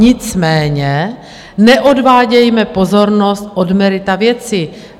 Nicméně neodvádějme pozornost od merita věci.